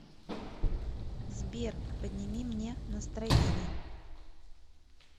сбер подними мне настроение